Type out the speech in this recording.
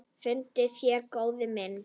Fundið fé, góði minn.